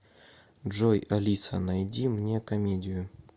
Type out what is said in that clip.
джой алиса найди мне комедию